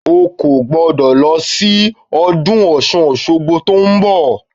O kò gbọ́dọ̀ lọ síbi ọdún Ọ̀ṣun-Òṣogbo tó ń bọ̀